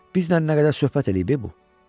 Biznən nə qədər söhbət eləyib e bu?